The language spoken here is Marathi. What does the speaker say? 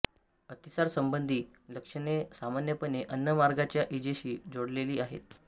अतिसार संबंधी लक्षणे सामान्यपणे अन्न मार्गाच्या इजेशी जोडलेली आहेत